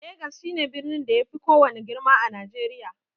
Legas shi ne birnin da ya fi kowanne girma a najeriya